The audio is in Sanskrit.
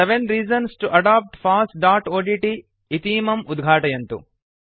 seven reasons to adopt fossओड्ट् इतीमम् उद्घाटयन्तु